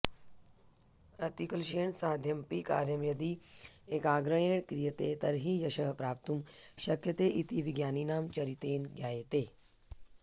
अतिक्लॆशेन साध्यमपि कार्यं यदि ऎकाग्र्यॆण क्रियतॆ तर्हि यशः प्राप्तुम् शक्यतॆ इति विज्ञानिनां चरितॆन ज्ञायतॆ